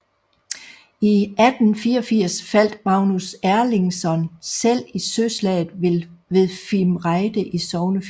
I 1184 faldt Magnus Erlingsson selv i søslaget ved Fimreite i Sognefjorden